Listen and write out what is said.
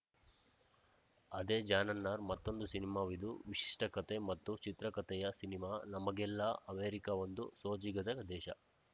ಅದೇ ಜಾನರ್‌ನ ಮತ್ತೊಂದು ಸಿನಿಮಾವಿದು ವಿಶಿಷ್ಟಕತೆ ಮತ್ತು ಚಿತ್ರಕತೆಯ ಸಿನಿಮಾ ನಮಗೆಲ್ಲಾ ಅಮೆರಿಕ ಒಂದು ಸೋಜಿಗದ ದೇಶ